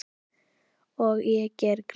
Og gera grín að mér.